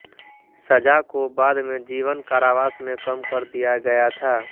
सजा को बाद में जीवन कारावास में कम कर दिया गया था